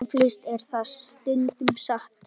Eflaust er það stundum satt.